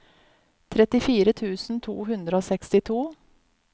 trettifire tusen to hundre og sekstito